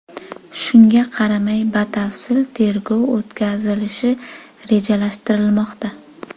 Shunga qaramay batafsil tergov o‘tkazilishi rejalashtirilmoqda.